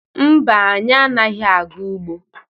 Mba, anyị anaghị aga ugbo.